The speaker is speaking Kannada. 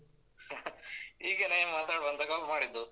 ಹೀಗೇನೆ ಮಾತಾಡುವ ಅಂತ call ಮಾಡಿದ್ದು.